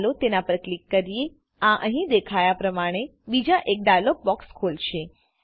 ચાલો તેના પર ક્લિક કરીએઆ અહી દેખાયા પ્રમાણે બીજો એક ડાઈલોગ બોક્સ ખોલશે